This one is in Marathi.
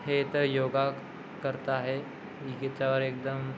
हे तर योगा करता आहे हिच्यावर एकदम --